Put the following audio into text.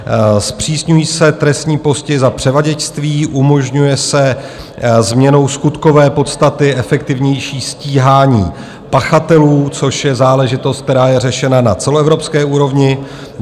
Zpřísňují se trestní postihy za převaděčství, umožňuje se změnou skutkové podstaty efektivnější stíhání pachatelů, což je záležitost, která je řešena na celoevropské úrovni.